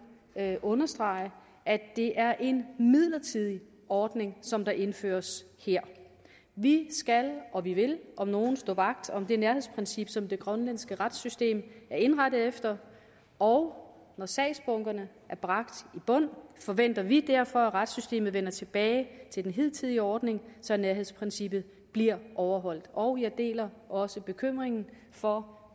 understrege at det er en midlertidig ordning som indføres her vi skal og vi vil om nogen stå vagt om det nærhedsprincip som det grønlandske retssystem er indrettet efter og når sagsbunkerne er bragt i bund forventer vi derfor at retssystemet vender tilbage til den hidtidige ordning så nærhedsprincippet bliver overholdt og jeg deler også bekymringen for